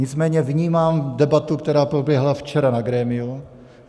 Nicméně vnímám debatu, která proběhla včera na grémiu.